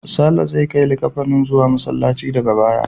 Sale zai kai likkafanin zuwa Masallaci daga baya.